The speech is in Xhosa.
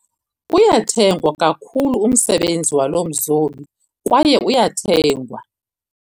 Uyathengwa kakhulu umsebenzi walo mzobi kwaye uyathengwa.